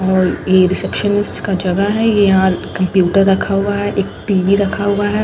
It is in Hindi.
ओर ये रिसेप्शन लिस्ट का जगह है ये यहां कंप्यूटर रखा हुआ है एक टी_वी रखा हुआ है ।